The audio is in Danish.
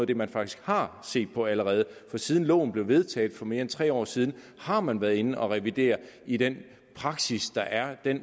det man faktisk har set på allerede for siden loven blev vedtaget for mere end tre år siden har man været inde at revidere i den praksis der er den